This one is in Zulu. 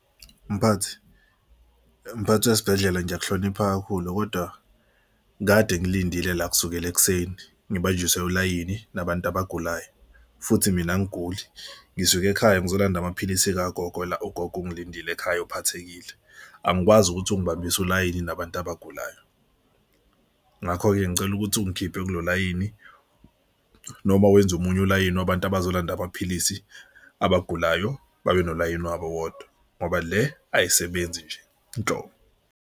Mphathi mphathi wesibhedlela ngiyakuhlonipha kakhulu kodwa kade ngilindile la kusukela ekuseni ngibanjiwe ulayini nabantu abagulayo futhi mina angiguli ngisuke ekhaya ngizolanda amaphilisi kagogo la, ugogo ungilindile ekhaya uphathekile. Angikwazi ukuthi ungibambise ulayini nabantu abagulayo. Ngakho-ke ngicela ukuthi ungikhiphe kulo layini noma wenze omunye ulayini wabantu abazolanda amaphilisi, abagulayo babe nolayini wabo wodwa ngoba le ayisebenzi nje nhlobo.